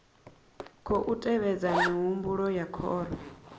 khou tevhedza mihumbulo ya khoro